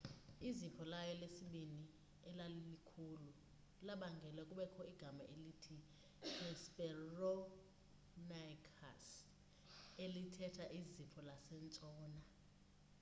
izipho layo lesibini elalikhulu labangela kubekho igama elithi hesperonychus elithetha izipho lasentshona